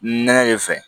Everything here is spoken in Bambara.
Nɛnɛ de fɛ